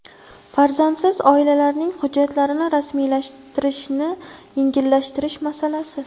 Farzandsiz oilalarning hujjatlarini rasmiylashtirilishini yengillashtirish masalasi.